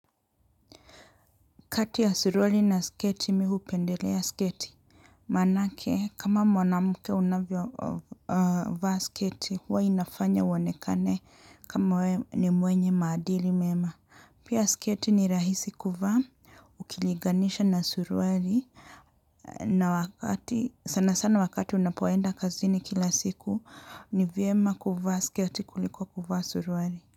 Kati ya suruali na sketi, mi hupendelea sketi. Manake, kama mwanamuke unavyo vaa sketi, huwa inafanya uwonekane kama ni mwenye maadili mema. Pia sketi ni rahisi kuvaa, ukiliganisha na suruali, sana sana wakati unapoenda kazini kila siku, nivyema kuvaa sketi kuliko kuvaa suruali.